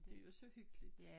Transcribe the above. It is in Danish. Det jo så hyggeligt